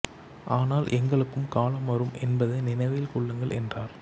ஆனால் எங்களுக்கும் காலம் வரும் என்பதை நினைவில் கொள்ளுங்கள் என்றார்